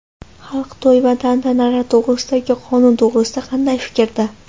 Xalq to‘y va tantanalar to‘g‘risidagi qonun to‘g‘risida qanday fikrda?